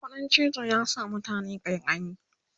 ƙuɗin cizo ya sa mutane ƙaiƙayi